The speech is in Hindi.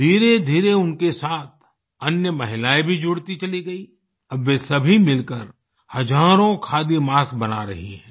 धीरेधीरे उनके साथ अन्य महिलाएँ भी जुड़ती चली गई अब वे सभी मिलकर हजारों खादी मास्क बना रही हैं